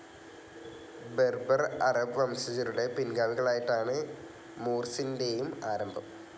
Berber, Arab വംശജരുടെ പിൻഗാമികളായിട്ടാണ് മൂർസിൻറെയും ആരംഭം.